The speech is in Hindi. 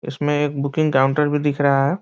इसमें एक बुकिंग काउंटर भी दिख रहा है।